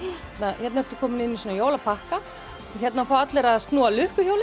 hérna ertu komin inn í jólapakka hér fá allir að snúa